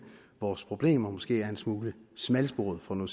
vores problemer måske er en smule smalsporet for nu